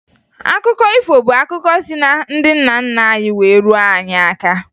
Akụkọ ifo bụ akụkọ si na ndị nna nna anyị wee ruo anyị aka